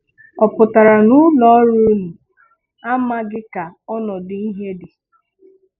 Ọ pụtara na ụlọọrụ unu amaghị ka ọnọdụ ihe dị?